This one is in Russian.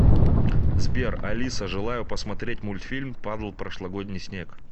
сбер алиса желаю посмотреть мультфильм падал прошлогодний снег